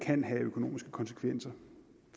kan have økonomiske konsekvenser